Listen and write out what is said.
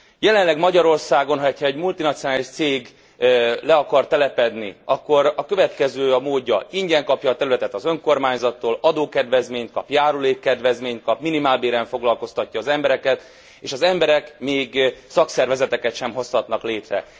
Jelenleg Magyarországon, ha egy multinacionális cég le akar telepedni, akkor a következő a módja ingyen kapja a területet az önkormányzattól, adókedvezményt kap, járulékkedvezményt kap, minimálbéren foglalkoztatja az embereket, és az emberek még szakszervezeteket sem hozhatnak létre.